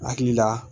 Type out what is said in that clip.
Hakili la